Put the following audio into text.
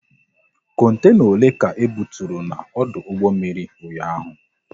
Kontena ole ka ebuturu n'ọdụ mmiri ụnyaahụ?